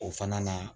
O fana na